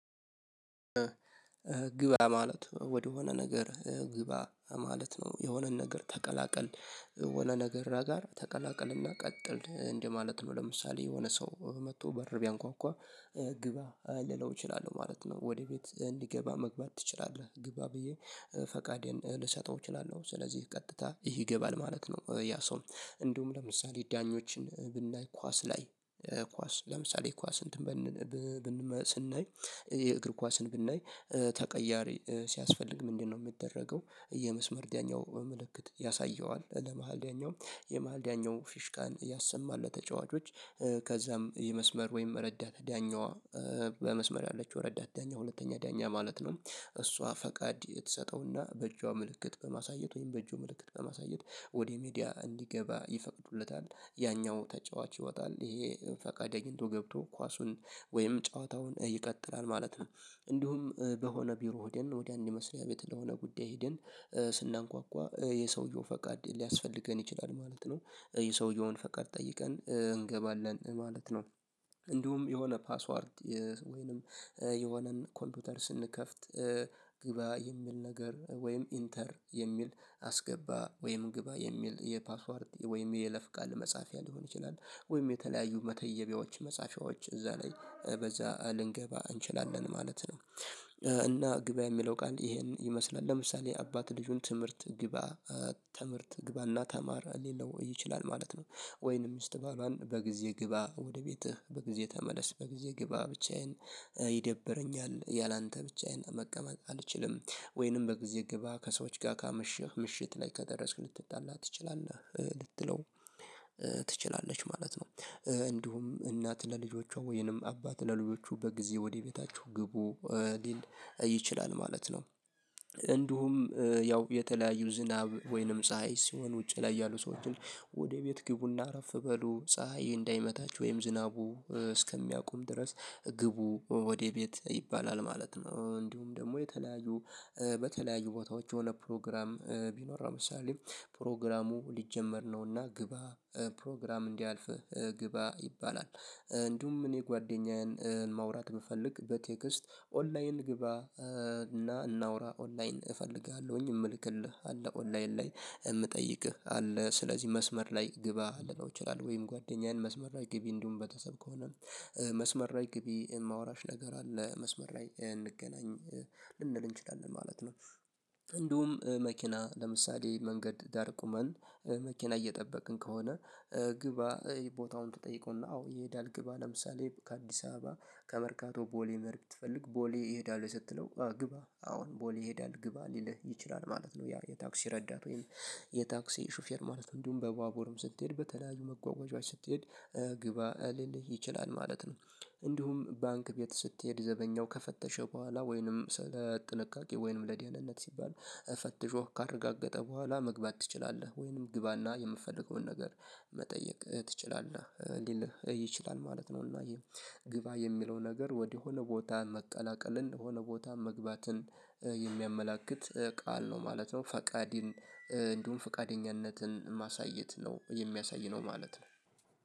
ግባ ማለት ወደሆነ ነገር ግባ ማለት ነው የሆነን ነገር ተቀላቀል ወደ ነገራ ጋር ተቀላቀልና ቀጥል እንደማለት ነው ለምሳሌ የሆነ ሰው መጥቶ በር ቢያንኳኳ ግባ ልለው እችላለሁ ማለት ነው ወደ ቤት እንዲገባ መግባት ትችላለህ ግባ ብዬ ፈቃዴን ልሰጠው እችላለሁ ስለዚህ ቀጥታ ይህ ይገባል ማለት ነው። ያ ሰው እንዲሁም ለምሳሌ ዳኞችን ብናይ ኳስ ላይ ኳስ ለምሳሌ ኳስ እንትን ብንል ስናይ የእግር ኳስን ብናይ ተቀያሪ ሲያስፈልግ ምንድነው? የሚደረገው የመስመር ደኛው በምልክት ያሳየዋል ለመሃል ዳኛው የመሃል ዳኛው ፊሽካን ያሰማል ለተጫዋቾች ከዛም የመስመር ወይም ረዳት ዳኛዋ በመስመር ያለችው ረዳት ዳኛ ሁለተኛ ዳኛ ማለት ነው። እሷ ፈቃድ የተሰጠውና በእጇ ምልክት በማሳየት ወይም በእጁ ምልክት በማሳየት ወደ ሜዳ እንዲገባ ይፈቅዱለታል ያኛው ተጫዋች ይወጣል ይሄ ፈቃደኛው ገብቶ ኳሱን ወይም ጨዋታውን ይቀጥላል ማለት ነው። እንዲሁም በሆነ ቢሮ ሄደን ወዲያን የሚመስሪያ ቤት ለሆነ ጉዳይ ሄደን ስናንኳኳ የሰውየው ፈቃድ ሊያስፈልገን ይችላል ማለት ነው ይሄ ሰውየውን ፈቃድ ጠይቀን እንገባለን ማለት ነው። እንዲሁም የሆነ ፓስዋርድ ወይንም የሆነን ኮምፒውተር ስንከፍት ግባ የሚል ነገር ወይም ኢንተር የሚል አስገባ ወይም ግባ የሚል የፓስዋርድ ወይም የይለፍ ቃል መጻፊያ ሊሆን ይችላል ወይም የተለያዩ መተየቢያዎች መጻፊያዎች እዛ ላይ በዛ ልንገባ እንችላለን ማለት ነው። እና ግባ የሚለው ቃል ይሄን ይመስላል ለምሳሌ አባት ልጁን ትምህርት ግባ ትምህርት ግባና ተማር ሊለው ይችላል ማለት ነው። ወይንም ሚስት ባሏን በጊዜ ግባ ወደ ቤትህ በጊዜ ተመለስ በጊዜ ግባ ብቻዬን ይደብረኛል ያላንተ ብቻዬን መቀመጥ አልችልም። ወይንም በጊዜ ግባ ከሰዎች ጋር ከምሽት ምሽት ላይ ከደረስክ ልትጣላ ትችላለህ ልትለው ትችላለች ማለት ነው። እንዲሁም እናት ለልጆቿ ወይንም አባት ለልጆቹ በጊዜ ወደ ቤታችሁ ግቡ ሊል ይችላል ማለት ነው። እንዲሁም ያው የተለያዩ ዝናብ ወይንም ፀሀይ ሲሆን ውጪ ላይ ያሉ ሰዎችን ወደ ቤት ግቡና አረፍ በሉ ፀሀይ እንዳይመታቹህጨወይም ዝናቡ እስከሚያቆም ድረስ ግቡ ወደ ቤት ይባላል ማለት ነው። እንዲሁም ደግሞ የተለያዩ በተለያዩ ቦታዎች የሆነ ፕሮግራም ቢኖር አሁን ምሳሌ ፕሮግራሙ ሊጀመር ነውና ግባ ፕሮግራም እንዳያልፍህ ግባ ይባላል። እንዲሁም እኔ ጓደኛዬን ማውራት ብፈልግ በቴክስት ኦንላይን ግባ እና እናውራ ኦንላይን እፈልጋለሁኝ የምልክልህ አለ ኦንላይን ላይ እምጠይቅህ አለ ስለዚህ መስመር ላይ ግባ ልለው ይችላል ወይም ጓደኛዬን መስመር ላይ ግቢ እንዲሁም በተሰብ ከሆነ መስመር ላይ ግቢ የማወራሽ ነገር አለ መስመር ላይ እንገናኝ ልንል እንችላለን ማለት ነው። እንዲሁም መኪና ለምሳሌ መንገድ ዳር ቁመን መኪና እየጠበቅን ከሆነ ግባ ቦታውን ትጠይቀውና አዎ ይሄዳል ግባ ለምሳሌ ከአዲስ አበባ ከመርካቶ ቦሌ መኸድ ብትፈልግ ቦሌ ይሄዳል ወይ ስትለው አዎ ግባ አሁን ቦሌ ይሄዳል ግባ ሊልህ ይችላል ማለት ነው። ያ የታክሲ ረዳት ወይም የታክሲ ሹፌር ማለት እንዲሁም በባቡርም ስትሄድ በተለያዩ መጓጓዣዎች ስትሄድ ግባ ሊልህ ይችላል ማለት ነው። እንዲሁም ባንክ ቤት ስትሄድ ዘበኛው ከፈተሸ በኋላ ወይንም ስለ ጥንቃቄ ወይንም ለደህንነት ሲባል ፈትሾህ ካረጋገጠ በኋላ መግባት ትችላለህ ወይንም ግባና የምትፈልገውን ነገር መጠየቅ ትችላለህ ሊልህ ይችላል ማለት ነው። እና ግባ የሚለው ነገር ወደሆነ ቦታ መቀላቀልን የሆነ ቦታ መግባትን የሚያመላክት ቃል ነው ማለት ነው ፈቃድን እንዲሁም ፈቃደኝነትን ማሳየት ነው የሚያሳይ ነው ማለት ነው